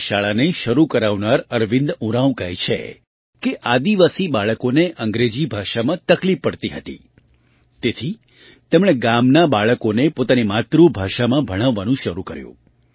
આ શાળાને શરૂ કરવાનાર અરવિંદ ઉરાંવ કહે છે કે આદિવાસી બાળકોને અંગ્રેજી ભાષામાં તકલીફ પડતી હતી તેથી તેમણે ગામનાં બાળકોને પોતાની માતૃભાષામાં ભણાવવાનું શરૂ કર્યું